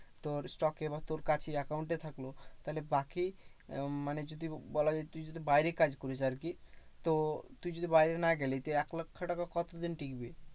তোর stock এ বা তোর কাছে account এ থাকলো। তাহলে বাকি উম মানে যদি বলা যায় তুই যদি বাইরে কাজ করিস আরকি তো তুই যদি বাইরে না গেলি তুই এক লক্ষ টাকা কতদিন টিকবি?